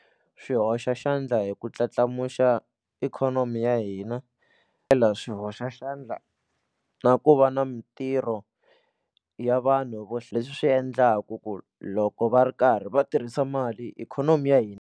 Swi hoxa xandla hi ku ndladlandlamuxa ikhonomi ya hina swi hoxa xandla na ku va na mitirho ya vanhu vo leswi swi endlaku ku loko va ri karhi va tirhisa mali ikhonomi ya hina.